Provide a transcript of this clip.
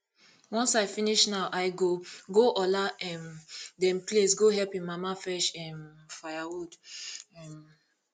once i finish now i go go ola um dem place go help im mama fetch um firewood um